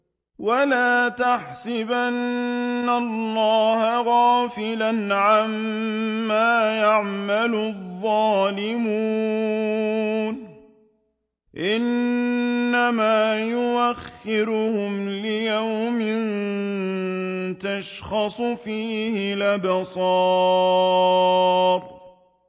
وَلَا تَحْسَبَنَّ اللَّهَ غَافِلًا عَمَّا يَعْمَلُ الظَّالِمُونَ ۚ إِنَّمَا يُؤَخِّرُهُمْ لِيَوْمٍ تَشْخَصُ فِيهِ الْأَبْصَارُ